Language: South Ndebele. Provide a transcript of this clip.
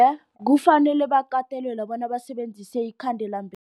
Kufanele bakatelelwe bona basebenzise